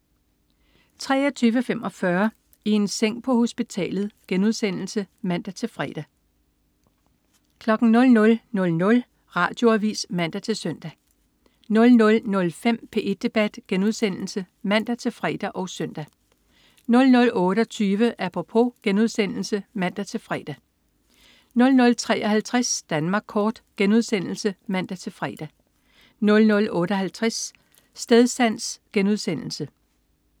23.45 I en seng på hospitalet* (man-fre) 00.00 Radioavis (man-søn) 00.05 P1 Debat* (man-fre og søn) 00.28 Apropos* (man-fre) 00.53 Danmark kort* (man-fre) 00.58 Stedsans*